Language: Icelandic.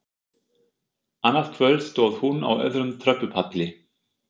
Annað kvöld stóð hún á öðrum tröppupalli.